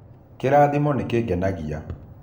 kĩrathimo nĩ gĩkenagia